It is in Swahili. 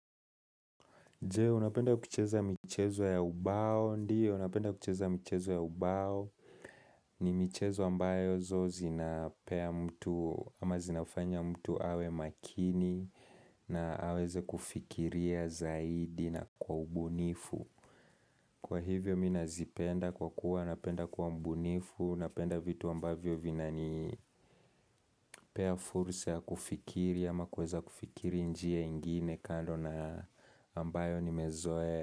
Je, unapenda kucheza michezo ya ubao, ndio napenda kucheza michezo ya ubao ni michezo ambayo zo zinapea mtu, ama zinafanya mtu awe makini na aweze kufikiria zaidi na kwa ubunifu Kwa hivyo mi nazipenda kwa kuwa, napenda kwa mbunifu napenda vitu ambayo vinanipea fursa ya kufikiri ama kuweza kufikiri njia ingine kando na ambayo nimezoea.